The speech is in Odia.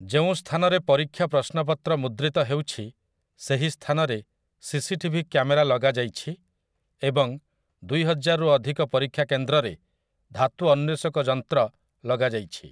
ଯେଉଁ ସ୍ଥାନରେ ପରୀକ୍ଷା ପ୍ରଶ୍ନପତ୍ର ମୁଦ୍ରିତ ହେଉଛି, ସେହି ସ୍ଥାନରେ ସିସିଟିଭି କ୍ୟାମେରା ଲଗାଯାଇଛି ଏବଂ ଦୁଇହଜାରରୁ ଅଧିକ ପରୀକ୍ଷା କେନ୍ଦ୍ରରେ ଧାତୁ ଅନ୍ୱେଷକ ଯନ୍ତ୍ର ଲଗାଯାଇଛି ।